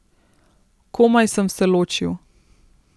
Komaj sem se ločil.